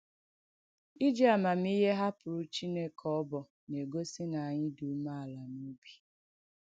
Ijì àmàmìhè hàpụ̀rù Chìnèkè ọbọ̀ na-egòsì na ànyị̣ dị́ ùmèàlà n’òbì.